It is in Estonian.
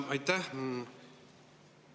Aitäh!